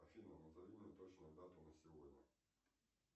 афина назови мне точную дату на сегодня